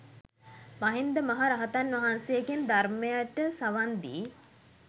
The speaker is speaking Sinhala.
මහින්ද මහ රහතන් වහන්සේගෙන් ධර්මයට සවන් දී